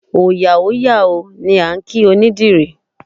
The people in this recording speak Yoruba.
Òòyà ó yà o! ni a kí onídìrí.